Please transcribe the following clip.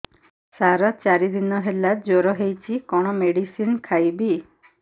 ସାର ଚାରି ଦିନ ହେଲା ଜ୍ଵର ହେଇଚି କଣ ମେଡିସିନ ଖାଇବି